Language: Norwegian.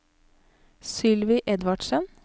Sylvi Edvardsen